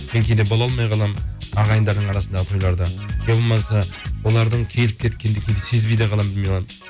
мен кейде бола алмай қаламын ағайындар арасындағы иә болмаса олардың келіп кеткендігін сезбей де қаламын